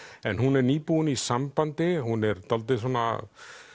en hún er nýbúin í sambandi hún er dálítið svona